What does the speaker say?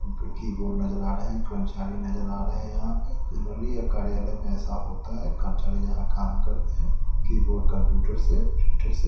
keyboard नजर आ रहे हैं कर्मचारी नजर आ रहे हैं यहां पे जनरली कार्यालय में ऐसा होता है कर्मचारी जहां काम करते है कीबोर्ड कंप्यूटर से कंप्यूटर से--